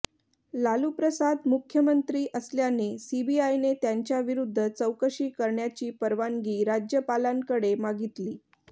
लालूप्रसाद मुख्यमंत्री असल्याने सीबीआयने त्यांच्याविरुद्ध चौकशी करण्याची परवानगी राज्यपालांकडे मागितली